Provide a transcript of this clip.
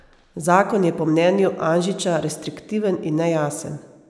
Zakon je po mnenju Anžiča restriktiven in nejasen.